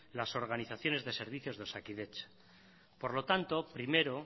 las organizaciones de servicios de osakidetza por lo tanto primero